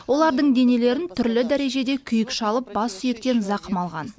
олардың денелерін түрлі дәрежеде күйік шалып бас сүйектен зақым алған